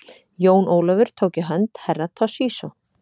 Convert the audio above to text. Jón Ólafur tók í hönd Herra Toshizo.